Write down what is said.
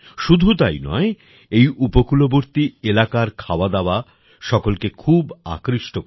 শুধু তাই নয় এই উপকূলবর্তী এলাকার খাওয়াদাওয়া সকলকে খুব আকৃষ্ট করে